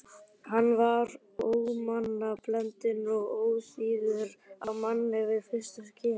Hann var ómannblendinn og óþýður á manninn við fyrstu kynni.